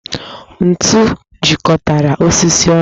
Ntù jikọtara osisi onụ